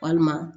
Walima